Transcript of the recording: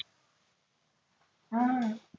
हम्म हम्म